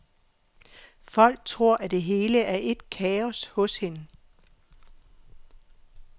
Folk tror, at det hele er ét kaos hos hende.